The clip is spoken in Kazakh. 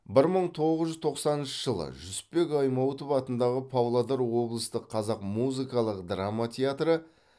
бір мың тоғыз жүз тоқсаныншы жылы жүсіпбек аймауытов атындағы павлодар облыстық қазақ музыкалық драма театры